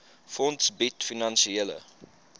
fonds bied finansiële